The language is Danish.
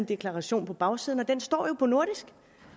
deklaration på bagsiden og den står jo på nordisk